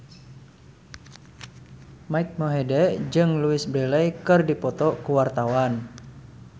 Mike Mohede jeung Louise Brealey keur dipoto ku wartawan